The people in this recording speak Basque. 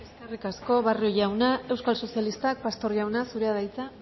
eskerrik asko barrio jauna euskal sozialista pastor jauna zurea da hitza